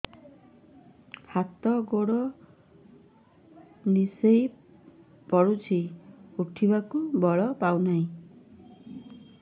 ହାତ ଗୋଡ ନିସେଇ ପଡୁଛି ଉଠିବାକୁ ବଳ ପାଉନି